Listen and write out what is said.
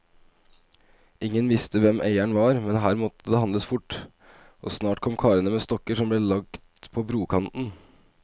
Ingen visste hvem eieren var, men her måtte det handles fort, og snart kom karene med stokker som ble lagt på brokanten.